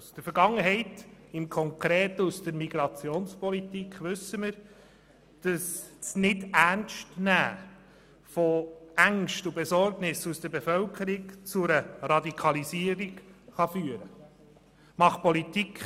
Aus der Vergangenheit, konkret aus der Migrationspolitik, wissen wir, dass das Nichternstnehmen von Ängsten und Sorgen der Bevölkerung zu einer Radikalisierung führen kann.